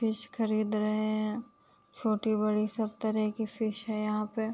Fish खरीद रहे है। छोटी-बड़ी सब तरह की फिश हैं यहाँ पे।